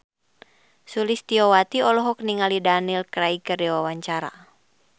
Sulistyowati olohok ningali Daniel Craig keur diwawancara